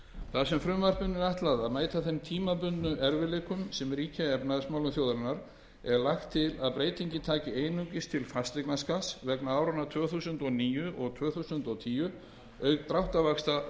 þar sem frumvarpinu er ætlað að mæta þeim tímabundnu erfiðleikum sem ríkja í efnahagsmálum þjóðarinnar er lagt til að breytingin taki einungis til fasteignaskatts vegna áranna tvö þúsund og níu og tvö þúsund og tíu auk dráttarvaxta